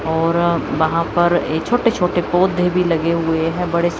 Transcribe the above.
और वहां पर ए छोटे छोटे पौधे भी लगे हुए हैं बड़े से--